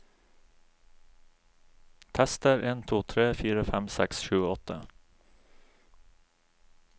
Tester en to tre fire fem seks sju åtte